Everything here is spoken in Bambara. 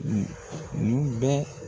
bɛ.